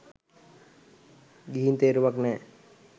ගිහින් තේරුමක් නෑ.